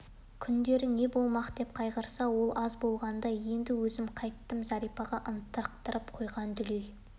күндері не болмақ деп қайғырса ол аз болғандай енді өзім қайттім зәрипаға ынтықтырып қойған дүлей